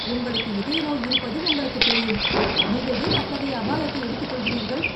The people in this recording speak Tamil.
உங்களுக்கு இதய நோய் இருப்பது உங்களுக்குத் தெரியும், நீங்கள் ஏன் அத்தகைய அபாயத்தை எடுத்துக்கொள்கிறீர்கள்?